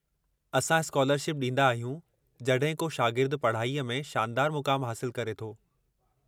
असां स्कालरशिप ॾींदा आहियूं जड॒हिं को शागिर्दु पढ़ाईअ में शानदारु मुक़ामु हासिलु करे थो।